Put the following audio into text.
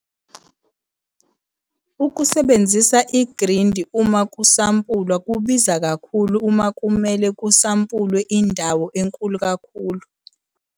Ukusebenzisa igridi uma kusampulwa kubiza kakhulu uma kumele kusampulwe indawo enkulu kakhulu.